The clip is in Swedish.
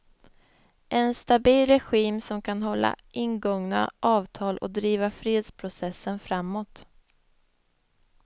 En stabil regim som kan hålla ingångna avtal och driva fredsprocessen framåt.